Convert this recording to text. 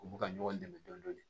U bɛ ka ɲɔgɔn dɛmɛ dɔɔni